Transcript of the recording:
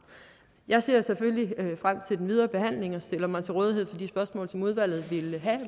jeg ser selvfølgelig frem til den videre behandling og stiller mig til rådighed for de spørgsmål som udvalget vil have